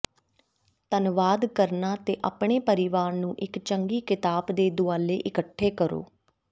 ਧੰਨਵਾਦ ਕਰਨਾ ਤੇ ਆਪਣੇ ਪਰਿਵਾਰ ਨੂੰ ਇੱਕ ਚੰਗੀ ਕਿਤਾਬ ਦੇ ਦੁਆਲੇ ਇਕੱਠੇ ਕਰੋ